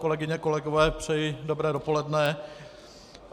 Kolegyně, kolegové, přeji dobré dopoledne.